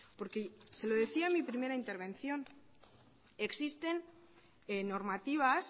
porque se lo decía en mi primera intervención existen normativas